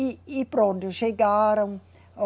E, e pronto, chegaram.